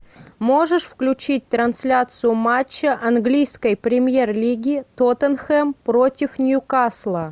можешь включить трансляцию матча английской премьер лиги тоттенхэм против ньюкасла